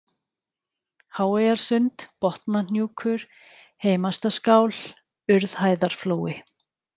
Háeyjarsund, Botnahnjúkur, Heimastaskál, Urðhæðarflói